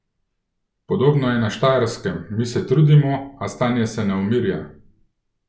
Podobno je na Štajerskem: "Mi se trudimo, a stanje se ne umirja.